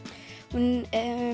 hún